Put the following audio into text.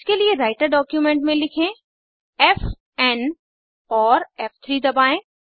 इसके लिए writer document में लिखें फ़ एन और फ़3 दबाएं